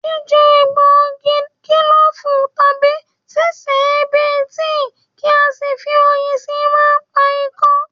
Jíjẹ egbògi kílòfù, tàbí sí sè é bí i tíì kí a sì fi oyin síi máa ń pa ikọ́